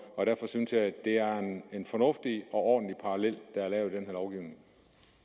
derfor synes jeg at det er en fornuftig og ordentlig parallel der er lavet